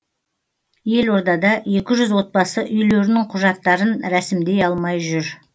елордада екі жүз отбасы үйлерінің құжаттарын рәсімдей алмай жүр